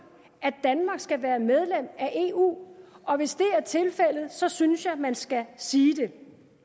at danmark skal være medlem af eu og hvis det er tilfældet så synes jeg man skal sige det